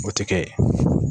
O tɛ kɛ.